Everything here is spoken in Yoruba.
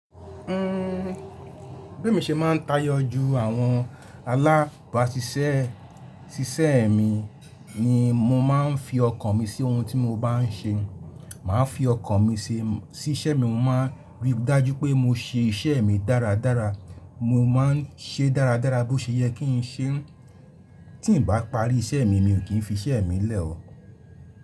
Uhm, bí mo ṣe máa ń tayọ ju àwọn alábàasísẹ́ sísẹ́ mi ni mo máa ń fi ọkàn mi sí ohun tí mo bá ń ṣe. Màá fi ọkàn mi sí iṣẹ́ mi, mo máa ríi dájú pé mo ṣe iṣẹ́ mi dáradára, mo máa ń ṣe é dáradára bí ó ṣe yẹ kí ń ṣe e. Tí ǹ bá parí iṣẹ́ mi, mi ò kí ń fi iṣẹ́ mi lẹ̀ o.